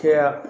Caya